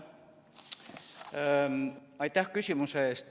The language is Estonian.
Aitäh küsimuse eest!